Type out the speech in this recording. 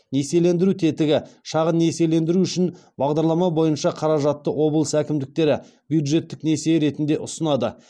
несиелендіру тетігі шағын несиелендіру үшін бағдарлама бойынша қаражатты облыс әкімдіктері бюджеттік несие ретінде ұсынады